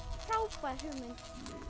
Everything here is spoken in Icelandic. frábær hugmynd